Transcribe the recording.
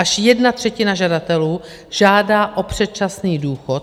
Až jedna třetina žadatelů žádá o předčasný důchod.